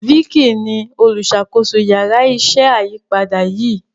Vicky ní oluṣakoso Yàrá iṣẹ́ ayípadà yí.